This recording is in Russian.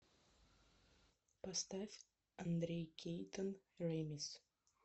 поставь андрей кейтон рамис